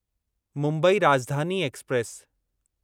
Mumbai Rajdhani express